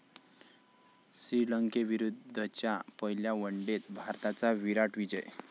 श्रीलंकेविरुद्धच्या पहिल्या वनडेत भारताचा 'विराट' विजय